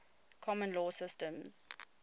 common law systems